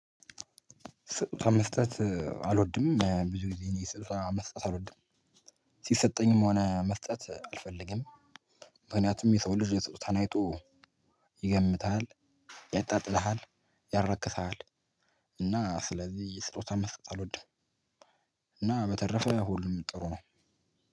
መስጠት አልወድም ብዙ ጊዜ እኔ መስጠት አልወድም ሲሰጠኝም ሆነ መስጠት አልፈልግም። ምክንያቱም የሰው ልጅ ስጦታህን አይቶ ይገምትሃል ይጣጥልሃል ያራክስሃል። እና ስለዚህ ስጦታ መስጠት አልወድም። እና በተረፈ ሁሉም ጥሩ ነው።